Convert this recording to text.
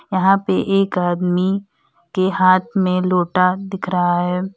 यहां पे एक आदमी के हाथ में लोटा दिख रहा है।